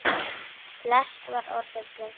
Flest var orðið breytt.